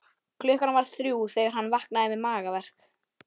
Klukkan var þrjú þegar hann vaknaði með magaverk.